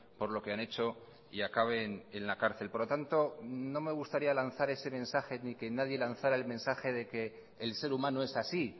por lo que han hecho y acaben en la cárcel por lo tanto no me gustaría lanzar ese mensaje ni que nadie lanzará el mensaje de que el ser humano es así